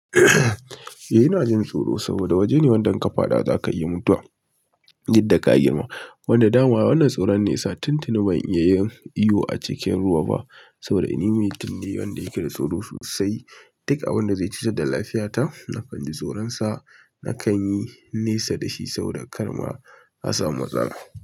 Eh ina jin tsoro saboda waje ne wanda in ƙafaɗa za ka iya mutuwa, duk da ka girmama. Wanda dama wannan tsoron ne ya sa tun tuni ban iya yin iyo a cikin ruwa ba saboda ni mutun ne wanda yake da tsoro sosai. Duk abin da zai cutar da lafiyata, na kan ji tsoronsa, na kan yi nesa da shi saboda kar ma a samu matsala.